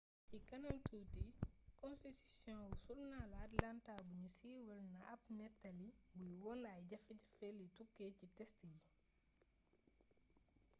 ci kanam tuuti konstitisiyon wu surnaalu atlanta buñu siiwal na ab néttali buy wone ay jafe-jafe li tukkee ci test yi